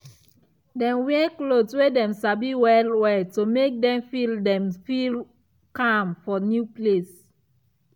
dem wear cloth wey dem sabi well well to make dem feel dem feel calm for new place.